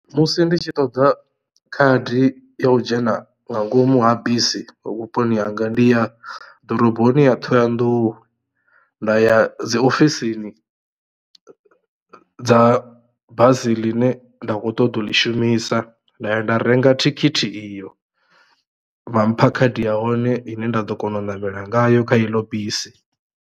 Musi nditshi ṱoḓa khadi yo u dzhena nga ngomu ha bisi vhuponi hanga ndi ya ḓoroboni ya Thohoyandou nda ya dzi ofisini dza bazi ḽine nda kho ṱoḓa u ḽi shumisa nda ya nda renga thikhithi iyo vha mpha khadi ya hone ine nda ḓo kona u namela ngayo kha iḽo bisi.